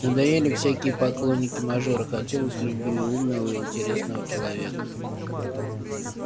надоели всякие поклонники-мажоры хотелось любви умного и интересного человека